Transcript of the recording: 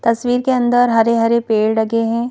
तस्वीर के अंदर हरे-हरे पेड़ लगे हैं।